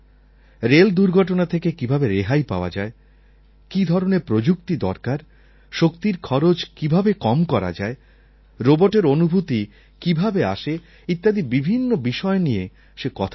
rail দুর্ঘটনা থেকে কীভাবে রেহাই পাওয়া যায় কী ধরনের প্রযুক্তি দরকার শক্তির খরচ কীভাবে কম করা যায় রোবটের অনুভূতি কীভাবে আসে ইত্যাদি বিভিন্ন বিষয় নিয়ে সে কথা বলছিল